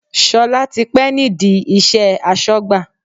Sola ti pẹ́ nídìí iṣẹ́ asọ́gbà